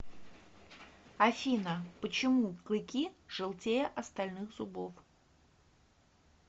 афина почему клыки желтее остальных зубов